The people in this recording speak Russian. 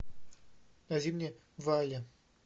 найди мне валли